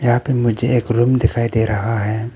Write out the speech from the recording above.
यहां पे मुझे एक रूम दिखाई दे रहा है।